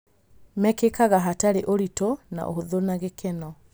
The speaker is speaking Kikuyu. Mekĩkaga hatarĩ ũritũ na ũhũthũ na gĩkeno.